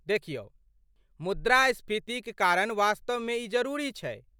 देखियौ, मुद्रास्फीतिक कारण वास्तवमे ई जरूरी छै।